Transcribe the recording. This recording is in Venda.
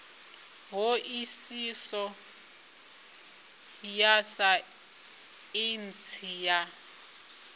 ṱho ḓisiso ya saintsi ya